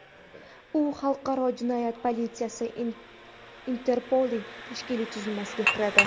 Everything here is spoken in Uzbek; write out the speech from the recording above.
U xalqaro jinoyat politsiyasi – Interpolning tashkiliy tuzilmasiga kiradi.